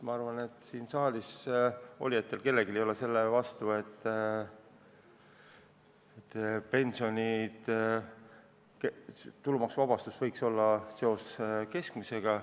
Ma arvan, et siin saalis olijatest ei ole keegi selle vastu, et pensionide tulumaksuvabastus võiks olla seotud keskmise pensioniga.